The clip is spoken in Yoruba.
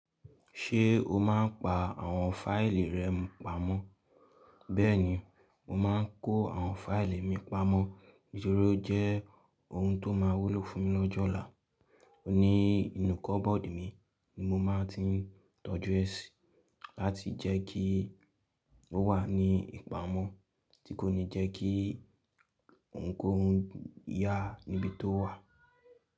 Ṣé o máa ń pa àwọn fáìlì rẹ pamọ́? Bẹ́ẹ̀ni, mo máa ń kó àwọn fáìlì mi pamọ́, nitori o jẹ́ ohun tó máa wúlò fún mi lọ́jọ́ ọ̀la. Oní ìnù kọ́bọ́ọ̀dù mi ni mo máa ti tọ́jú ẹ sí, láti jẹ́ kí ó wà ní ìpamọ́, tí kò ní jẹ́ kí ohunkóhun yà á níbi tó wà.